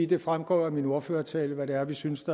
det fremgår af min ordførertale hvad det er vi synes